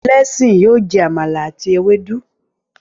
Blessing yóò jẹ Àmàlà àti Ewédú